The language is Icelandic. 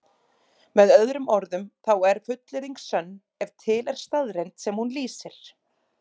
Með öðrum orðum þá er fullyrðing sönn ef til er staðreynd sem hún lýsir.